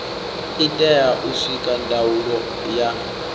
itea u sikwa ndaulo ya